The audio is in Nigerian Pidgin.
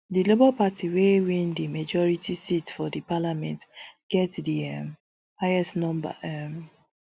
di labour party wey win di majority seat for di parliament get di um highest number um